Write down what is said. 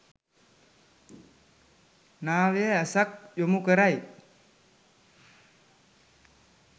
නව්‍ය ඇසක් යොමු කරයි.